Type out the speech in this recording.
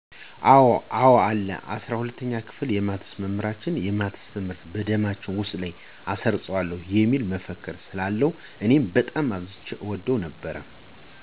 አወ አለ። የ፩፪ኛ ክፍል የማትስ መምህራችን "የማትስ ትምህርት በደማችሁ ውስጥ አሰርጽዋለሁ" የሚል መፈክር ስላለው እኔም በጣም አብዝቼ እወድለት ነበር።